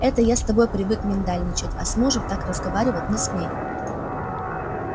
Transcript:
это я с тобой привык миндальничать а с мужем так разговаривать не смей